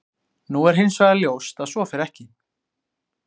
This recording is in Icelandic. Nú er hins vegar ljóst að svo fer ekki.